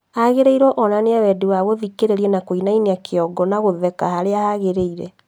Agĩrĩirwo onanie wendi wa gũthikĩrĩria na kuinainia kiongo na gũtheka harĩa hagiĩrĩire